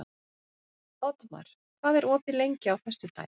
Oddmar, hvað er opið lengi á föstudaginn?